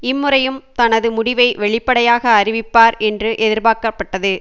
இம்முறையும் தனது முடிவை வெளிப்படையாக அறிவிப்பார் என்று எதிர்பார்க்கப்பட்டது